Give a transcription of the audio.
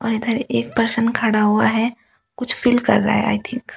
अर इधर एक पर्सों खड़ा हुआ हे कुछ फील कर रहा हे आइ थिंक ।